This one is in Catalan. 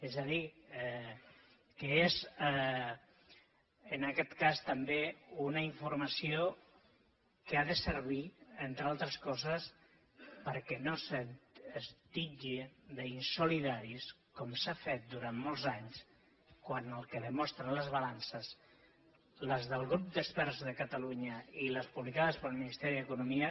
és a dir que és en aquest cas també una informació que ha de servir entre altres coses perquè no se’ns titlli d’insolidaris com s’ha fet durant molts anys quan el que demostren les balances les del grup d’experts de catalunya i les publicades pel ministeri d’economia